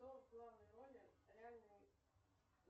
кто в главной роли реальный